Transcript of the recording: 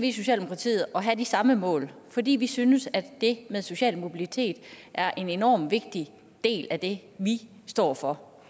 i socialdemokratiet at have det samme mål fordi vi synes at det med social mobilitet er en enormt vigtig del af det vi står for